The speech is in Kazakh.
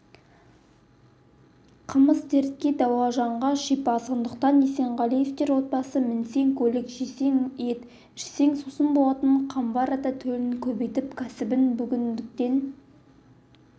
қымыз дертке дауа жанға шипа сондықтан есенғалиевтер отбасы мінсең көлік жесең ет ішсең сусын болатын қамбар ата төлін көбейтіп кәсібін бүгінгіден